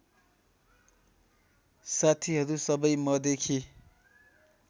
साथीहरू सबै मदेखि